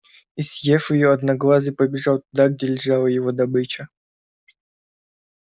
и съев её одноглазый побежал туда где лежала его добыча